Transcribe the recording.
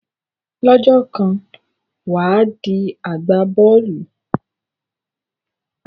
Lọ́jọ́ kan wà á di agbá bọ́ọ̀lù.